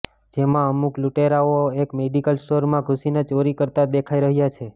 જેમાં અમુક લૂંટેરાઓ એક મેડિકલ સ્ટોરમાં ઘૂંસીને ચોરી કરતા દેખાઈ રહ્યા છે